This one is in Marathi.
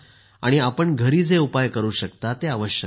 आणि आपण घरी जे उपाय करू शकता ते अवश्य करा